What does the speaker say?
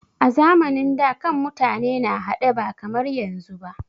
A zamanin da, kan mutane na haɗe ba kamar yanzu ba.